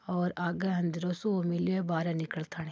और आगे अंधेरो सो मिलियो बारे निकलतानी।